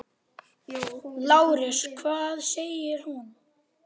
LÁRUS: Hvað sagði hún?